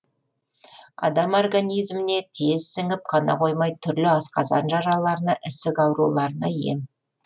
адам организіміне тез сіңіп қана қоймай түрлі асқазан жараларына ісік ауруларына ем